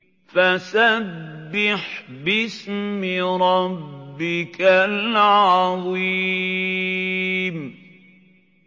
فَسَبِّحْ بِاسْمِ رَبِّكَ الْعَظِيمِ